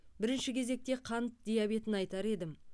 бірінші кезекте қан диабетін айтар едім